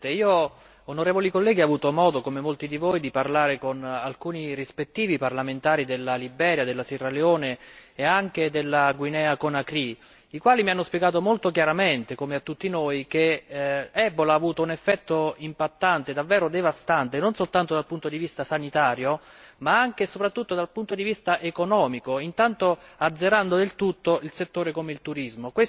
Signor Presidente, onorevoli colleghi, io ho avuto modo, come molti di voi, di parlare con alcuni rispettivi parlamentari della Liberia, della Sierra Leone e anche della Guinea, i quali mi hanno spiegato molto chiaramente, come a tutti noi, che Ebola ha avuto un effetto impattante davvero devastante, non soltanto dal punto di vista sanitario ma anche e soprattutto dal punto di vista economico, intanto azzerando del tutto un settore come il turismo.